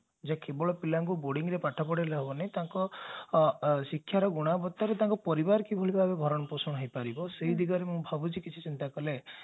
ଯେ କେବଳ ପିଲାଙ୍କୁ boarding ରେ ପାଠ ପଢେଇଲେ ହେବୋନି ତାଙ୍କ ଶିକ୍ଷାର ଗୁଣବତ୍ତାରେ ତାଙ୍କ ପରିବାର କିଭୋଳି ଭାବରେ ଭରଣ ପୋଷଣ ହେଇପାରିବ ସେ ଦିଗରେ ମୁଁ ଭାବୁଛି କିଛି ଚିନ୍ତା କଲେ